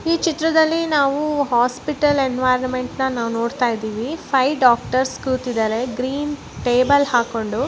ಈ ಚಿತ್ರದಲ್ಲಿ ನಾವೂ ಹಾಸ್ಪಿಟಲ್ ಎನ್ವೈರ್ನಮೆಂಟ್ ನ ನಾವು ನೋಡ್ತಾ ಇದ್ದೀವಿ ಫೈವ್ ಡಾಕ್ಟರ್ಸ್ ಕೂತಿದರೇ ಗ್ರೀನ್ ಮಗು_ಮಾತನಾಡುವುದು ಟೇಬಲ್ ಹಾಕೊಂಡು.